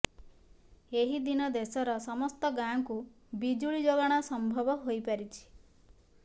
ଏହି ଦିନ ଦେଶର ସମସ୍ତ ଗାଁକୁ ବିଜୁଳି ଯୋଗାଣ ସମ୍ଭବ ହୋଇପାରିଛି